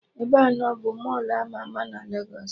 Ebeanọ bụ Mọlụ ama ama na Legos